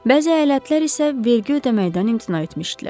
Bəzi əyalətlər isə vergi ödəməkdən imtina etmişdilər.